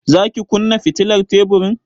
Za ki kunna fitilar teburin?